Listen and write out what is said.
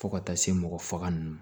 Fo ka taa se mɔgɔ faga ninnu ma